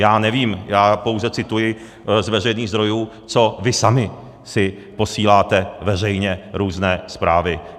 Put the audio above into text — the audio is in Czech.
Já nevím, já pouze cituji z veřejných zdrojů, co vy sami si posíláte veřejně různé zprávy.